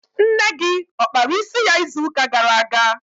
Nne gị ọ kpara isi ya izu ụka gara aga?